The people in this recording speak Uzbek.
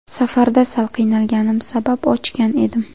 Safarda sal qiynalganim sabab ochgan edim.